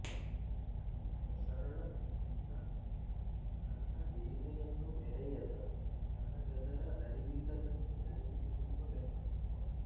ಅತ್ಯಂತ ಸರಳ ಮುಗ್ಧ ತನ್ನ ಹಿರಿಮೆಯನ್ನು ಮೆರೆಯದ ತನಗದರ ಅರಿವಿಲ್ಲದಂತೆ ನಡೆದುಕೊಳ್ಳುವ ವ್ಯಕ್ತಿತ್ವ